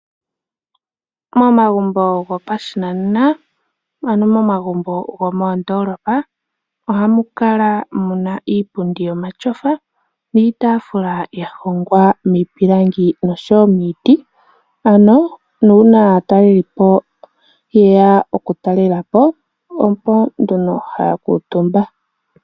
Momagumbo gopashinanena, ano momagumbo gomoondolopa ohamu kala muna iipundi yomatyofa niitafula yahongwa miipilangi nosho wo miiti ano una aatalelipo yeya oku talela po oko nduno haya kutumba.